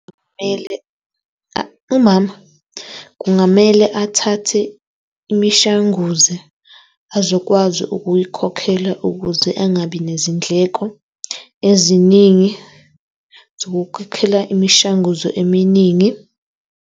Kumele, umama kungamele athathe imishanguze azokwazi ukuyikhokhela ukuze angabi nezindleko eziningi zokukhokhela imishanguzo eminingi.